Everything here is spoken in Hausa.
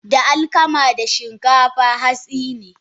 Da alkama da Shinkafa hatsine.